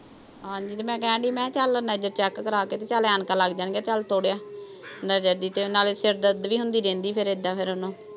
ਹਾਂਜੀ। ਤੇ ਮੈਂ ਕਹਿਣ ਡਈ ਸੀ, ਮੈਂ ਕਿਆ ਚੱਲ ਨਜ਼ਰ ਚੈੱਕ ਕਰਾ ਕੇ ਤੇ ਚੱਲ ਐਨਕਾਂ ਲੱਗ ਜਾਣਗੀਆਂ ਤੇ ਚੱਲ ਆ। ਨਜ਼ਰ ਦੀ ਤੇ ਏਦਾਂ ਫਿਰ ਸਿਰ ਦਰਦ ਵੀ ਹੁੰਦੀ ਰਹਿੰਦੀ ਉਹਨੂੰ।